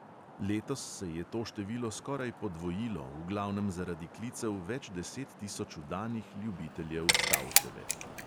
Letos se je to število skoraj podvojilo v glavnem zaradi klicev več deset tisoč vdanih ljubiteljev stavčeve.